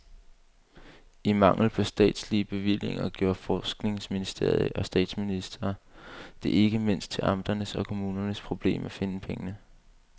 I mangel på statslige bevillinger gjorde forskningsminister og statsminister det ikke mindst til amternes og kommunernes problem at finde pengene.